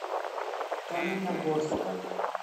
каменногорска